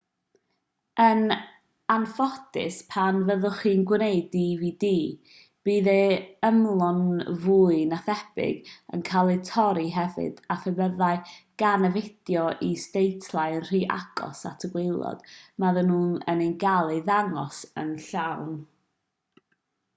yn anffodus pan fyddwch chi'n gwneud dvd bydd ei ymylon fwy na thebyg yn cael eu torri hefyd a phe byddai gan y fideo is-deitlau yn rhy agos at y gwaelod fyddan nhw ddim yn cael eu dangos yn llawn